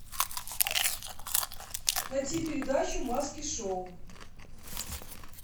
найти передачу маски шоу